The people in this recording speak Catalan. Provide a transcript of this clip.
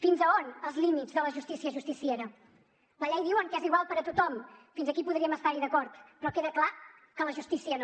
fins a on els límits de la justícia justiciera la llei diuen que és igual per a tothom fins aquí podríem estar hi d’acord però queda clar que la justícia no